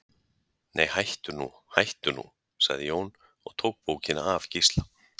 Nei, hættu nú, hættu nú, sagði Jón og tók bókina af Gísla.